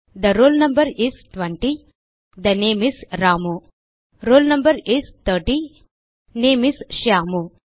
they roll no is 20 the name is Ramu roll no is 30 name is Shyam